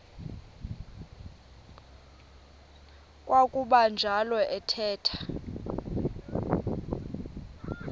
kwakuba njalo athetha